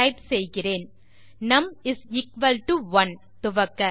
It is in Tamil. டைப் செய்கிறேன் நும் 1 துவக்க